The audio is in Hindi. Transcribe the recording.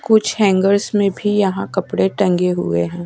कुछ हैंगर्स में भी यहां कपड़े टंगे हुए हैं।